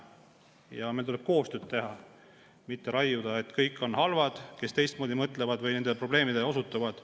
Ja meil tuleb koostööd teha, mitte raiuda, et kõik on halvad, kes teistmoodi mõtlevad või nendele probleemidele osutavad.